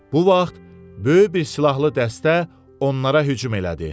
Bu vaxt böyük bir silahlı dəstə onlara hücum elədi.